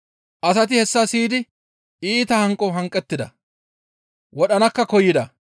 Asati hessa siyidi iita hanqo hanqettida; wodhanakka koyida.